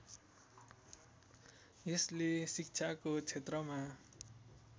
यसले शिक्षाको क्षेत्रमा